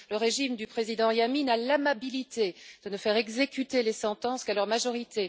Le régime du président Yameen a l'amabilité de ne faire exécuter les sentences qu'à leur majorité.